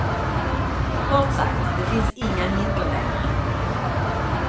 Kort sagt, det fanns inga hinder längre.